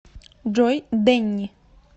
джой дэнни